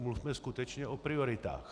Mluvme skutečně o prioritách.